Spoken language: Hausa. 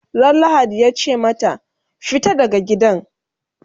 Ran lahadi yace mata"fita daga gidan!"